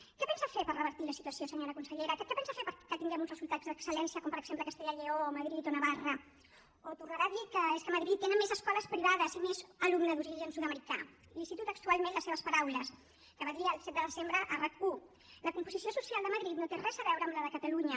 què pensa fer per revertir la situació senyora consellera què pensa fer perquè tinguem uns resultats d’excel·lència com per exemple castella i lleó o madrid o navarra o tornarà a dir que és que a madrid tenen més escoles privades i més alumnes d’origen sud americà li cito textualment les seves paraules que va dir el set de desembre a rac1 la composició social de madrid no té res a veure amb la de catalunya